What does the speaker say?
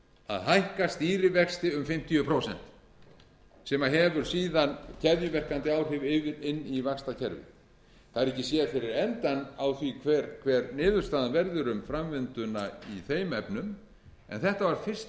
að hækka stýrivexti um fimmtíu prósent sem hefur síðan keðjuverkandi áhrif inn í vaxtakerfið það er ekki séð fyrir endann á því hver niðurstaðan verður um framvinduna í þeim efnum en þetta var fyrsta